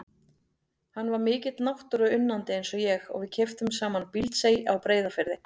Hann var mikill náttúruunnandi eins og ég og við keyptum saman Bíldsey á Breiðafirði.